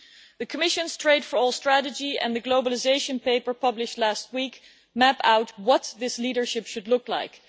The Commission's Trade for All strategy and the globalisation paper published last week map out what this leadership should look like.